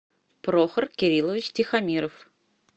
прохор кириллович тихомиров